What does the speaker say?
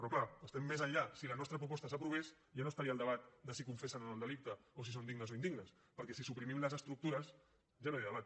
però clar estem més enllà si la nostra proposta s’aprovés ja no estaria el debat de si confessen o no el delicte o si són dignes o indignes perquè si suprimim les estructures ja no hi ha debat